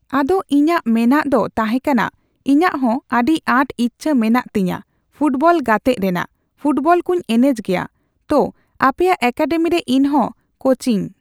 ᱟᱫᱚ ᱤᱧᱟᱹᱜ ᱢᱮᱱᱟᱜ ᱫᱚ ᱛᱟᱸᱦᱮ ᱠᱟᱱᱟ ᱤᱧᱟᱹᱜ ᱦᱚᱸ ᱟᱹᱰᱤ ᱟᱸᱴ ᱤᱪᱪᱷᱟᱹ ᱢᱮᱱᱟᱜ ᱛᱤᱧᱟ ᱯᱷᱩᱴᱵᱚᱞ ᱜᱟᱛᱮᱜ ᱨᱮᱱᱟᱜ, ᱯᱷᱩᱴᱵᱚᱞ ᱠᱚᱧ ᱮᱱᱮᱡ ᱜᱮᱭᱟ᱾ ᱛᱳ ᱟᱯᱮᱭᱟᱜ ᱮᱠᱟᱰᱮᱢᱤᱨᱮ ᱤᱧᱦᱚᱸ ᱠᱳᱪᱤᱝ